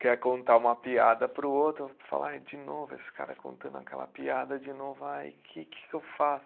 Quer contar uma piada para o outro, o outro fala, ai de novo, esse cara contando aquela piada, de novo, ai que, que que eu faço?